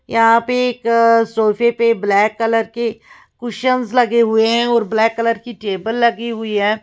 यहाँ पे एक सोफे पे ब्लैक कलर के कुशन्स लगे हुए हैं और ब्लैक कलर की टेबल लगी हुई है।